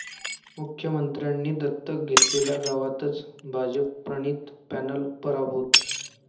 मुख्यमंत्र्यांनी दत्तक घेतलेल्या गावातच भाजपप्रणित पॅनल पराभूत